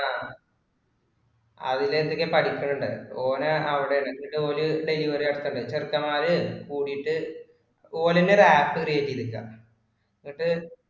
ആഹ് അതിന്റെ എന്തൊക്കെയോ പഠിക്കണുണ്ട്. ഓന് അവിടെയാണ്. എന്നിട്ട് ഓര് delivery നടത്തണുണ്ട്‌. പിന്നെ ചെക്കന്മാര് കുടിയിട്ടു ഓര് തന്നെ ഒരു App create ചെയ്തേക്കുവാ എന്നിട്ടു